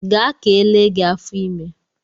Gaa ka ele gị afọ ime!